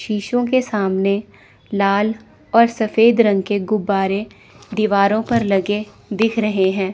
शीशे के सामने लाल और सफेद रंग के गुब्बारे दीवारों पर लगे दिख रहे हैं।